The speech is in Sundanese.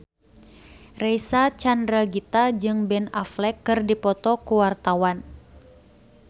Reysa Chandragitta jeung Ben Affleck keur dipoto ku wartawan